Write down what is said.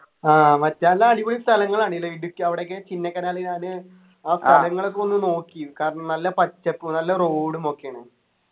ആഹ് മറ്റേ നല്ല അടിപൊളി സ്ഥലങ്ങളാണ് അല്ലെ ഇടുക്കി അവിടെയൊക്കെ ചിന്നക്കനാല് ഞാന് ആ സ്ഥലങ്ങളൊക്കെ ഒന്ന് നോക്കി കാരണം നല്ല പച്ചപ്പും നല്ല road ഉം ഒക്കെയാണ്